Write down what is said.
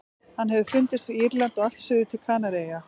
Hann hefur fundist við Írland og allt suður til Kanaríeyja.